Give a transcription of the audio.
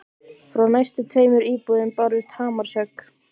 Frá næstu tveimur íbúðum bárust hamarshögg.